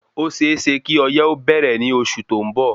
Ó séeésé kí ọyé ó bẹ̀rẹ̀ ní oṣù tó ń bọ̀